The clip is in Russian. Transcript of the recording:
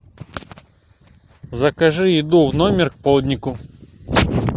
закажи еду в номер к полднику